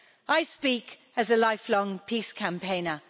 I speak as a lifelong peace campaigner.